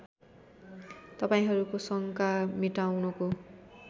तपाईँहरूको शङ्का मेटाउनको